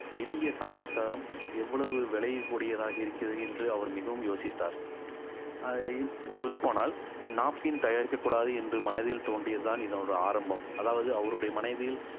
எளிய சமாச்சாரம் எவ்வளவு விளையக்கூடியதாக இருக்கிறது என்று அவர் மிகவும் யோசித்தார் அஹ் சொல்லப் போனால் napkin தயாரிக்கக் கூடாது என்று மனதில் தோன்றியதுதான் இதனுடைய ஆரம்பம் அதாவது அவருடைய மனதில்